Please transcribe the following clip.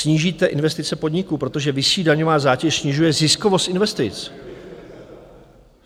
Snížíte investice podniků, protože vyšší daňová zátěž snižuje ziskovost investic.